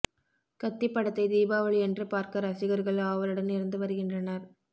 கத்தி படத்தை தீபாவளியன்று பார்க்க ரசிகர்கள் ஆவலுடன் இருந்து வருகின்றனர்